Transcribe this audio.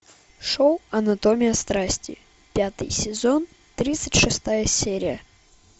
шоу анатомия страсти пятый сезон тридцать шестая серия